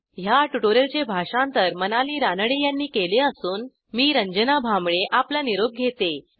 ह्या ट्युटोरियलचे भाषांतर मनाली रानडे यांनी केले असून मी रंजना भांबळे आपला निरोप घेते